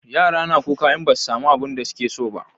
Yara na kuka in ba su samu abunda su ke so ba